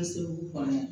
kɔnɔ